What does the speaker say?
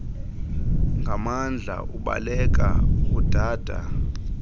nganmandla ubaleka udada